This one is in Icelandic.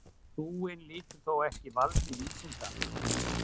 Trúin lýtur þó ekki valdi vísindanna.